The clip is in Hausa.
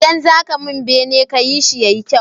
Idan zaka mun bene kayi shi yayi kyau